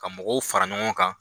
Ka mɔgɔw fara ɲɔgɔn kan